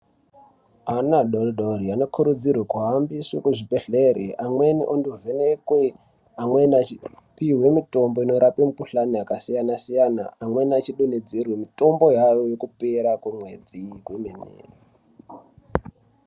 Ana adoridori anokurudzirwe kuhambiswe kuzvibhehlere amweni ondovhenekwe, amweni achipiwe mitombo inorape mikuhlani yakasiyana-siyana. Amweni achidonhedzerwe mitombo yavo yekupera kwemwedzi kwemene.